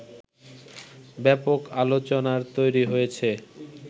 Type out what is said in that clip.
ব্যাপক আলোচনার তৈরী হয়েছে